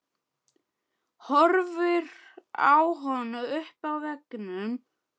Horfir á hana uppi á veggnum.